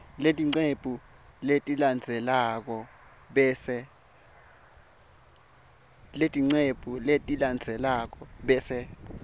leticephu letilandzelako bese